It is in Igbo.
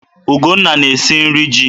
Ugonna na-esi nri ji.